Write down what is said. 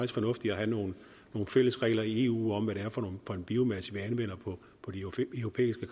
fornuftigt at have nogle fælles regler i eu om hvad det er for en biomasse vi anvender på de europæiske